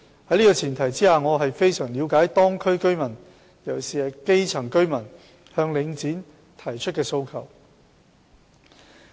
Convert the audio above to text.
在這個前提下，我十分了解當區居民——尤其是基層居民——向領展提出的訴求。